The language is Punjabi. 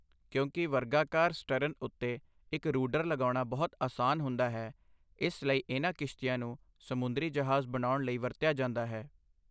ਕਿਉਂਕਿ ਵਰਗਾਕਾਰ ਸਟਰਨ ਉੱਤੇ ਇੱਕ ਰੂਡਰ ਲਗਾਉਣਾ ਬਹੁਤ ਆਸਾਨ ਹੁੰਦਾ ਹੈ, ਇਸ ਲਈ ਇਹਨਾਂ ਕਿਸ਼ਤੀਆਂ ਨੂੰ ਸਮੁੰਦਰੀ ਜਹਾਜ਼ ਬਣਾਉਣ ਲਈ ਵਰਤਿਆ ਜਾਂਦਾ ਹੈ।